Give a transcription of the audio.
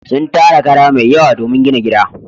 Sun tara kara mai yawa domin gina gida.